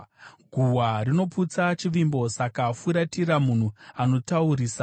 Guhwa rinoputsa chivimbo; saka furatira munhu anotaurisa.